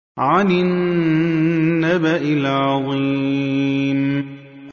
عَنِ النَّبَإِ الْعَظِيمِ